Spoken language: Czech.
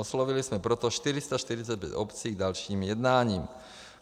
Oslovili jsme proto 445 obcí k dalším jednáním.